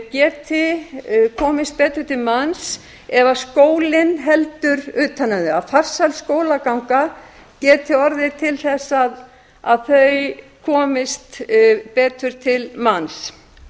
geti komist betur til manns ef skólinn heldur utan um þau að farsæl skólaganga geti orðið til þess að þau komist betur til manns